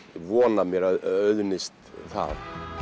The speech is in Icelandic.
vona að mér auðnist það